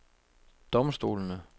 domstolene